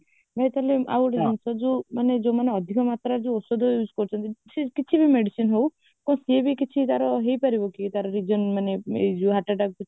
ନୂଆ problem ଆଉ ଗୋଟେ ଯୋଉ ମାନେ ଅଧିକ ମାତ୍ରାରେ ଔଷଧ use କରୁଛନ୍ତି ସେ କିଛି ବି medicine ହଉ ତ ସେ ବି କିଛି ତାର ହେଇପାରିବ କି ତାର ଯୋଉ ମାନେ ଏଇ ଯୋଉ heart attack ମାନେ